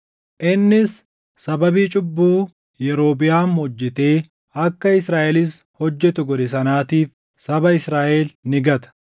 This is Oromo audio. Innis sababii cubbuu Yerobiʼaam hojjetee akka Israaʼelis hojjetu godhe sanaatiif saba Israaʼel ni gata.”